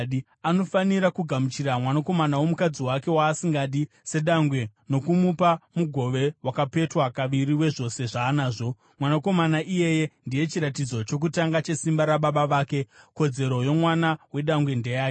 Anofanira kugamuchira mwanakomana womukadzi wake waasingadi sedangwe nokumupa mugove wakapetwa kaviri wezvose zvaanazvo. Mwanakomana iyeye ndiye chiratidzo chokutanga chesimba rababa vake. Kodzero yomwana wedangwe ndeyake.